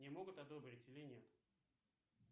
мне могут одобрить или нет